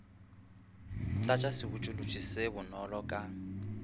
tlatša sebotšološi se bonolo ka